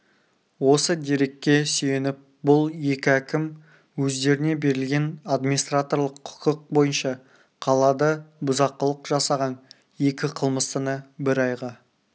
осы дерекке сүйеніп бұл екі әкім өздеріне берілген администраторлық құқық бойынша қалада бұзақылық жасаған екі қылмыстыны бір айға